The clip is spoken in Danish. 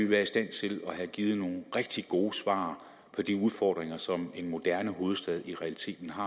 været i stand til at give nogle rigtig gode svar på de udfordringer som en moderne hovedstad i realiteten har